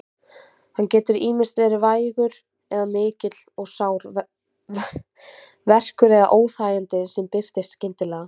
Hann getur ýmist verið vægur eða mikill og sár verkur eða óþægindi sem birtast skyndilega.